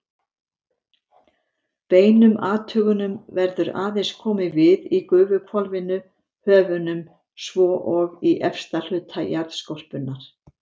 Beinum athugunum verður aðeins komið við í gufuhvolfinu, höfunum, svo og í efsta hluta jarðskorpunnar.